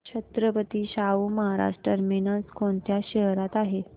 Chhatrapati Shahu Maharaj terminus कोणत्या शहरात आहे